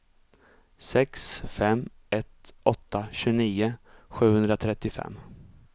sex fem ett åtta tjugonio sjuhundratrettiofem